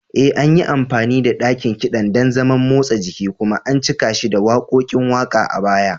E, an yi amfani da ɗakin kiɗan don zaman motsa jiki kuma an cika shi da waƙoƙin waƙa a baya.